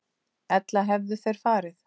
Ella hefðu þeir farið.